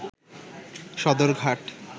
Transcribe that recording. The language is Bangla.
সদরঘাট